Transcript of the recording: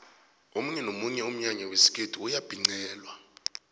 omunye nomunye umnyanya wesikhethu uyabhincelwa